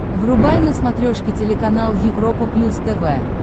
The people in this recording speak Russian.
врубай на смотрешке телеканал европа плюс тв